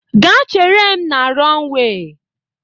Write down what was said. Gaa chere m na rọnwee